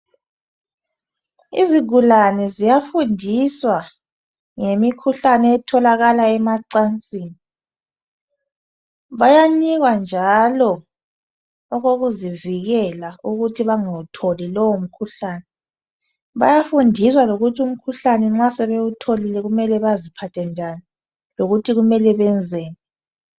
Izigulane ziyafundiswa ngemikhuhlane etholakala emacansini ,bayanikwa njalo okokuzivikela ukuthi bangawutholi lowo mkhuhlane, bayafundiswa lokuthi umkhuhlane nxa sebewutholile kumele baziphathe njani lokuthi kumele benzeni.